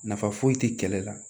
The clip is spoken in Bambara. Nafa foyi tɛ kɛlɛ la